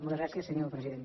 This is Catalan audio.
moltes gràcies senyor president